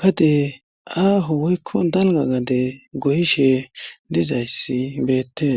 gade aaho woykko dalgga gade goyishe dizayssi betees